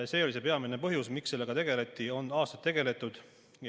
See oli see peamine põhjus, miks sellega tegeldi ja on aastaid tegeldud.